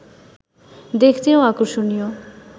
দেখতেও আকর্ষণীয়